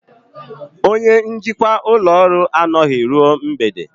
Onye njikwa ụlọ ọrụ anọghị ruo mgbede